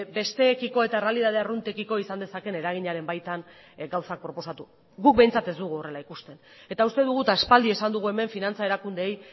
besteekiko eta errealitate arruntekiko izan dezaken eraginaren baitan gauzak proposatu guk behintzat ez dugu horrela ikusten eta uste dugu eta aspaldi esan dugu hemen finantza erakundeei